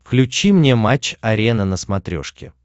включи мне матч арена на смотрешке